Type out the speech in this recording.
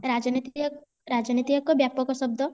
ରାଜନୀତି ଏକ ବ୍ୟାପକ ଶବ୍ଦ